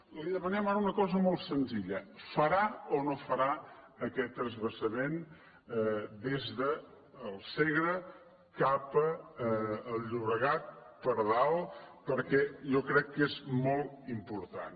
li demanem ara una cosa molt senzilla farà o no farà aquest transvasament des del segre cap al llobregat per dalt perquè jo crec que és molt important